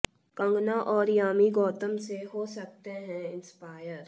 कंगना और यामी गौतम से हो सकते हैं इंस्पायर